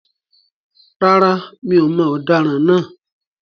Rárá, mi ò mọ ọ̀daràn naa